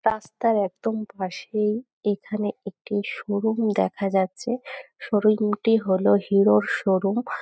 রাস্তার একদম পাশেই এখানে একটি শোরুম দেখা যাচ্ছে শোরুম - টি হল হিরো - র শোরুম ।